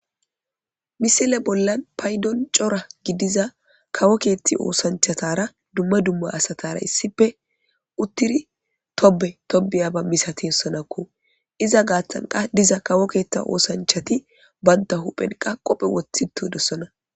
Misile bollan paydon cora gidiza kawo keethti oosanchatara dumma dumma asatara issippe uttiri tobe tobiyaba misatidossonakko .Iza gaaththan qaa diza kawo keetta oosanchati banta huphen qoobe woththi doosona.